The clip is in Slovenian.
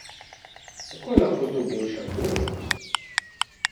Kako je lahko to boljša možnost?